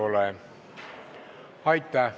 Seda soovi ei ole.